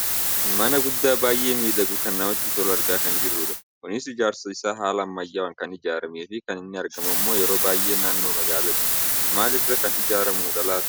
Mana guddaa baayyee miidhagu kan namatti tolu argaa kan jirrudha. Kunis ijaarsi isaa halaa ammayyaawwaan kan ijaarrameefi kan inni argamu ammoo yeroo baayyee naannoo magaalaatti. Maal irraa kan ijaarramudha laata?